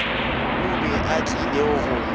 o be a tlile go